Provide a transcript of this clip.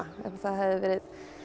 það hefði verið